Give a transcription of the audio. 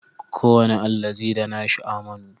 Kowane allazi da nashi amanu